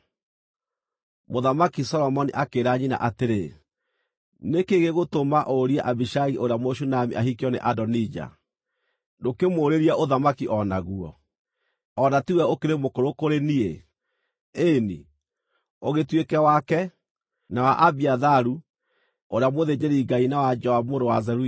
Mũthamaki Solomoni akĩĩra nyina atĩrĩ, “Nĩ kĩĩ gĩgũtũma ũrie Abishagi ũrĩa Mũshunami ahikio nĩ Adonija? Ndũkĩmũũrĩrie ũthamaki o naguo, o na ti we ũkĩrĩ mũkũrũ kũrĩ niĩ, ĩĩ-ni, ũgĩtuĩke wake, na wa Abiatharu ũrĩa mũthĩnjĩri-Ngai na wa Joabu mũrũ wa Zeruia!”